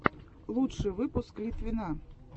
лучший выпуск литвина